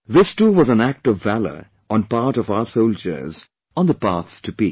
This too was an act of valour on part of our soldiers on the path to peace